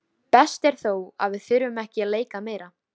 Best er þó að þurfa ekki að leika meira.